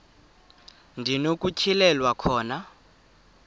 ndi nokutyhilelwa khona